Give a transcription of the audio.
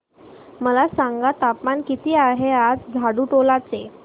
मला सांगा तापमान किती आहे आज झाडुटोला चे